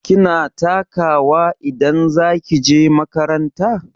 Kina taka wa idan za ki je makaranta?